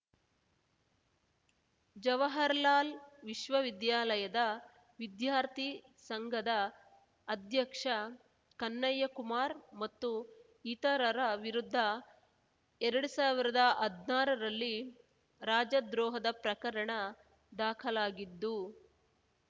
ಜವಾಹಾರ್‌ಲಾಲ್ ವಿಶ್ವವಿದ್ಯಾಲಯದ ವಿದ್ಯಾರ್ಥಿ ಸಂಘದ ಅಧ್ಯಕ್ಷ ಕನ್ನಯ್ಯಕುಮಾರ್ ಮತ್ತು ಇತರರ ವಿರುದ್ಧ ಎರಡ್ ಸಾವಿರ್ದಾ ಹದ್ನಾರರಲ್ಲಿ ರಾಜದ್ರೋಹದ ಪ್ರಕರಣ ದಾಖಲಾಗಿದ್ದು